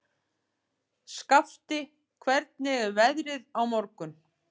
Skafti, hvernig er veðrið á morgun?